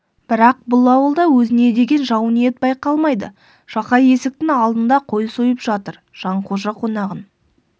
бірақ бұл ауылда өзіне деген жау ниет байқалмайды жақай есіктің алдында қой сойып жатыр жанқожа қонағын